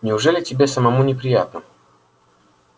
неужели тебе самому не приятно